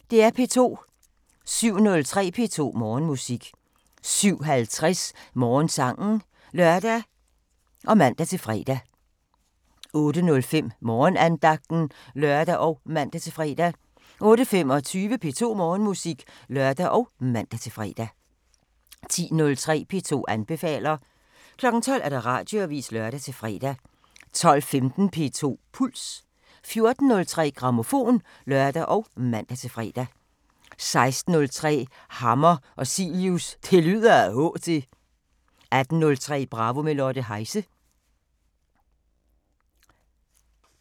07:03: P2 Morgenmusik 07:50: Morgensangen (lør og man-fre) 08:05: Morgenandagten (lør og man-fre) 08:25: P2 Morgenmusik (lør og man-fre) 10:03: P2 anbefaler 12:00: Radioavisen (lør-fre) 12:15: P2 Puls 14:03: Grammofon (lør og man-fre) 16:03: Hammer og Cilius – Det lyder ad H... til 18:03: Bravo – med Lotte Heise